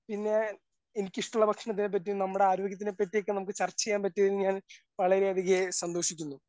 പിന്നെ എനിക്കിഷ്ടമുള്ള ഭക്ഷണത്തിനെ പറ്റിയും നമ്മുടെ ആരോഗ്യത്തിനെ പറ്റിയും ഒക്കെ നമുക്ക് ചർച്ച ചെയ്യാൻ പറ്റിയതിൽ ഞാൻ വളരെയധികം സന്തോഷിക്കുന്നു.